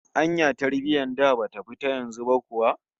Anya tarbiyyar da bata fi ta yanzu ba kuwa?